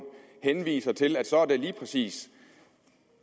henviser til at det så lige præcis